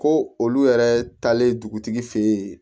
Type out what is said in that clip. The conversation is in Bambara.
Ko olu yɛrɛ taalen dugutigi fɛ yen